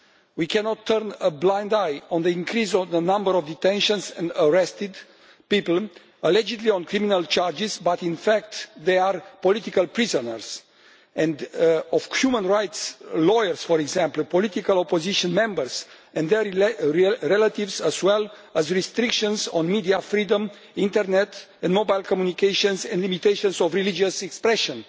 We cannot turn a blind eye to the increase in the number of detentions and arrests of people allegedly on criminal charges, when in fact they are political prisoners human rights lawyers, for example, or political opposition members and their relatives or to restrictions on media freedom, internet and mobile communications and to limitations of religious expression.